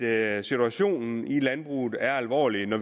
er at situationen i landbruget er alvorlig nu